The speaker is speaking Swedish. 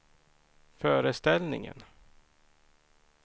föreställningen